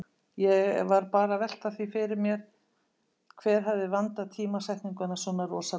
Ég var bara að velta því fyrir mér hver hefði vandað tímasetninguna svona rosalega.